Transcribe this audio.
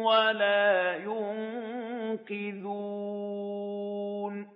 وَلَا يُنقِذُونِ